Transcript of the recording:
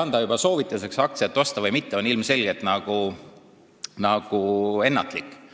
anda juba soovitusi, kas aktsiat osta või mitte, oleks ilmselgelt ennatlik.